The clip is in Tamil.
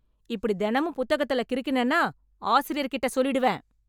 இப்டி தெனமும் புத்தகத்துல கிறுக்கினேனா, ஆசிரியர்கிட்ட சொல்லிடுவேன்...